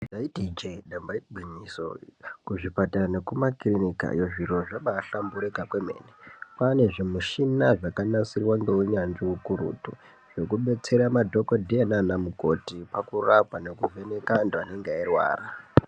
Ndaiti ijee damba igwinyiso, kuzvipatara nekumakirinikayo zviro zvabaahlamburika kwemene. Kwaane zvimushina zvakanasirwa ngounyanzvi ukurutu, zvekubetsera madhokodheya naanamukoti pakurapa nekuvheneka antu anenge eirwara.